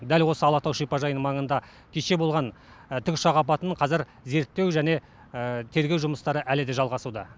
дәл осы алатау шипажайының маңында кеше болған тікұшақ апатын қазір зерттеу және тергеу жұмыстары әлі де жалғасуда